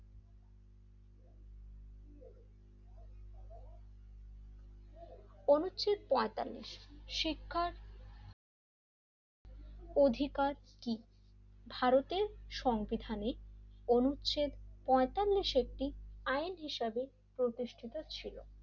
অনুচ্ছেদ পইন্তালিস শিক্ষার অধিকার কি ভারতের সংবিধানের অনুচ্ছেদ পইন্তালিস একটি আইন হিসাবে প্রতিষ্ঠিত ছিল,